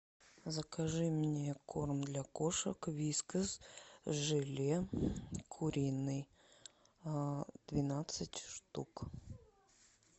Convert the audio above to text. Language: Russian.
закажи мне корм для кошек вискас желе куриный двенадцать штук